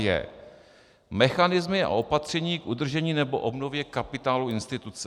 j) mechanismy a opatření k udržení nebo obnově kapitálu instituce,